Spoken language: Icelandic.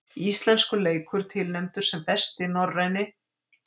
Íslenskur leikur tilnefndur sem besti norræni